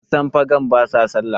kasan fegan ba sa sallah